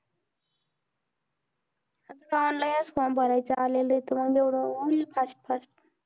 ताण लय असतोय, भरायचं आलेलंय तर मग एवढं होईन fast fast.